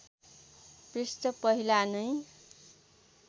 पृष्ठ पहिला नै